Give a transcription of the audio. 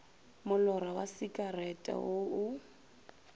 molora wa sekerete wo o